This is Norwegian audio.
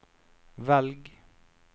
velg